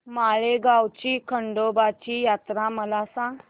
माळेगाव ची खंडोबाची यात्रा मला सांग